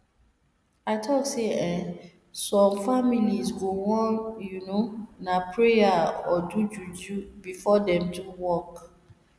i talk say eeh some families go wan you know na pray or do juju before dem do work